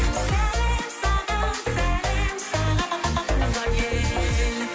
сәлем саған сәлем саған туған ел